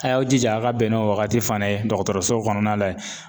A y'aw jija a ka bɛn n'o wagati fana ye dɔgɔtɔrɔso kɔnɔna la yen.